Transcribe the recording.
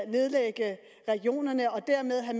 nedlægge regionerne og dermed